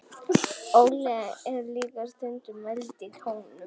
olía er líka stundum mæld í tonnum